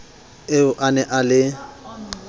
eo a ne a le